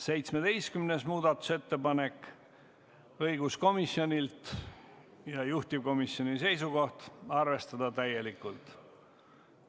17. muudatusettepanek on õiguskomisjonilt, juhtivkomisjoni seisukoht on arvestada seda täielikult.